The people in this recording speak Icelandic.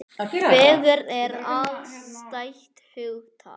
Fegurð er afstætt hugtak.